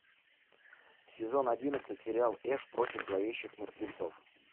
сезон одиннадцать сериал эш против зловещих мертвецов